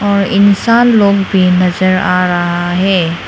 और इंसान लोग भी नजर आ रहा है।